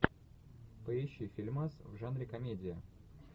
поищи фильмас в жанре комедия